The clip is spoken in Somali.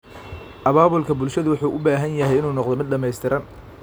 Abaabulka bulshadu wuxuu u baahan yahay inuu noqdo mid dhamaystiran.